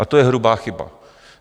A to je hrubá chyba.